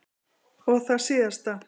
Og það síðasta.